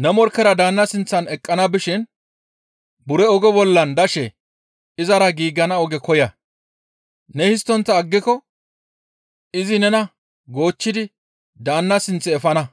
«Ne morkkera daanna sinththan eqqana bishin buro oge bollan dashe izara giigana oge koya; ne histtontta aggiko izi nena goochchidi daanna sinth efana;